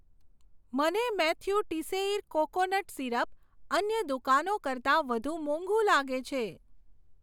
મને Mathieu Teisseire coconut syrup અન્ય દુકાનો કરતાં વધુ મોંઘુ લાગે છે.